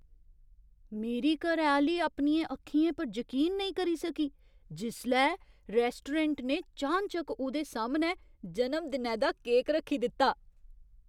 मेरी घरैआह्‌ली अपनियें अक्खियें पर जकीन नेईं करी सकी जिसलै रैस्टोरैंट ने चानचक्क उ'दे सामनै जनम दिनै दा केक रक्खी दित्ता।